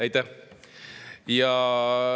Aitäh!